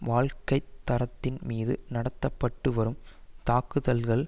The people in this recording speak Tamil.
வாழ்க்கை தரத்தின் மீது நடத்த பட்டு வரும் தாக்குதல்கள்